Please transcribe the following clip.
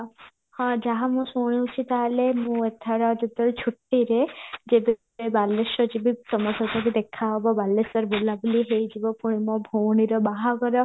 ହଁ ଯାହା ମୁଁ ଶୁଣୁଚି ତାହେଲେ ମୁଁ ଏଥର ଛୁଟିରେ ଯଦି କେବେ ବାଲେଶ୍ଵର ଜୀବି ତମ ସହିତ ବି ଦେଖା ହବ ବାଲେଶ୍ଵର ବୁଲା ବୁଲି ହେଇଯିବ ପୁଣି ମୋ ଭଉଣୀର ବାହାଘର